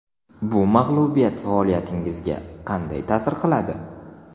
Bu mag‘lubiyat faoliyatingizga qanday ta’sir qiladi?